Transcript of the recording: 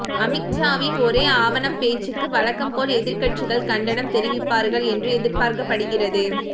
அமித்ஷாவின் ஒரே ஆவணம் பேச்சுக்கு வழக்கம்போல் எதிர்க்கட்சிகள் கண்டனம் தெரிவிப்பார்கள் என்று எதிர்பார்க்கப்படுகிறது